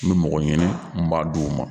N kun me mɔgɔ ɲini, n kun m'a d'o ma